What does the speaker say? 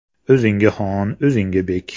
O‘ziga xon, o‘ziga bek.